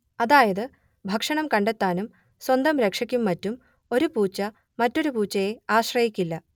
അതായത് ഭക്ഷണം കണ്ടെത്താനും സ്വന്തം രക്ഷയ്ക്കും മറ്റും ഒരു പൂച്ച മറ്റൊരു പൂച്ചയെ ആശ്രയിക്കില്ല